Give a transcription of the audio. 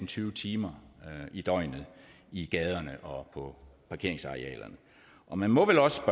tyve timer i døgnet i gaderne og på parkeringsarealerne og man må vel også